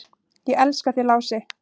"""Ég elska þig, Lási."""